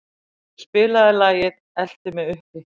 Kubbur, spilaðu lagið „Eltu mig uppi“.